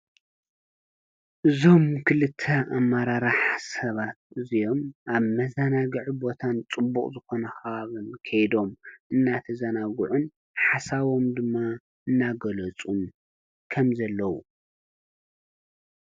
እዞም ክልተ ኣመራርሓ ሰባት እዚኦም ኣብ መዘናግዒ ቦታን ፅቡቅ ዝኮነ ከባብን ከይዶም እናተዘናግዑን ሓሳቦም ድማ እናገለፁ ከም ዘለዉ ።